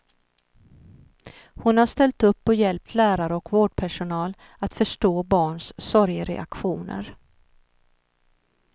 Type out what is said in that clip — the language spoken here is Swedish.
Hon har ställt upp och hjälpt lärare och vårdpersonal att förstå barns sorgereaktioner.